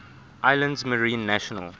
islands marine national